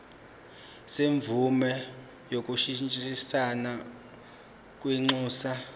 semvume yokushintshisana kwinxusa